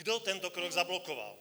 Kdo tento krok zablokoval?